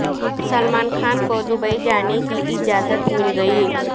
سلمان خان کو دبئی جانے کی اجازت مل گئی